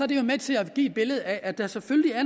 det her med til at give et billede af at der selvfølgelig er